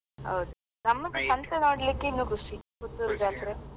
ಹೌದು, ನಮ್ಗೆ ಸಂತೆ ನೋಡ್ಲಿಕ್ಕೆ ಇನ್ನು ಖುಷಿ ಪುತ್ತೂರ್ ಜಾತ್ರೆ.